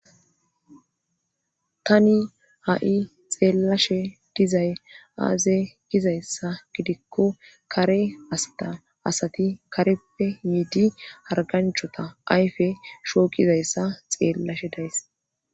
Tani ha'i xeellashe dizay aaze gizayssa gidikko kare asta asati kareppe yiidi harganchota ayfe shooqizayssa xeellashe days.